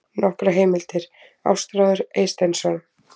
Nokkrar heimildir: Ástráður Eysteinsson.